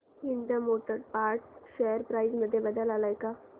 Ind motor parts share price मध्ये बदल आलाय का